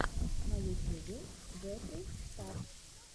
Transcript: на ютюбе джеффри стар